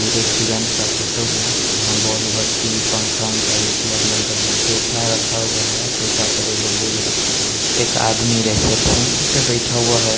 दो रेस्टोरेंट के फोटो हैं वहाँ बॉलपति पंखा वनखा लागल हैं सोफा रहा हुआ हैं सोफा पे एगो बैग रखाल हैं एक आदमी रिसेप्शन पे बैठा हुआ हैं।